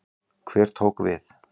Hver tók við?